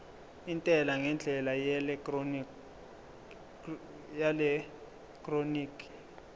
intela ngendlela yeelektroniki